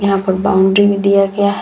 यहाँ पर बाउंड्री भी दिया गया --